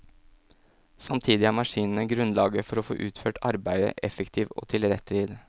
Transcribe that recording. Samtidig er maskinene grunnlaget for å få utført arbeidet effektivt og til rett tid.